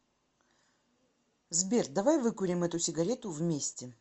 сбер давай выкурим эту сигарету вместе